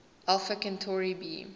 alpha centauri b